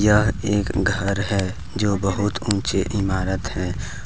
यह एक घर हैजो बहुत ऊंचे इमारत है।